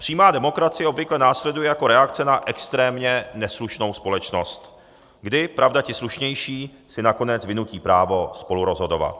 Přímá demokracie obvykle následuje jako reakce na extrémně neslušnou společnost, kdy, pravda, ti slušnější si nakonec vynutí právo spolurozhodovat.